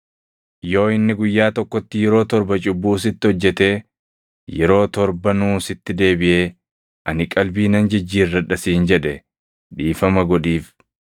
Yoo inni guyyaa tokkotti yeroo torba cubbuu sitti hojjetee yeroo torbanuu sitti deebiʼee, ‘Ani qalbii nan jijjiirradha’ siin jedhe dhiifama godhiif.”